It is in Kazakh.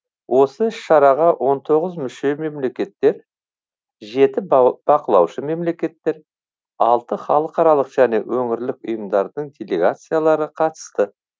осы іс шараға он тоғыз мүше мемлекеттер жеті бақылаушы мемлекеттер алты халықаралық және өңірлік ұйымдардың делегациялары қатысты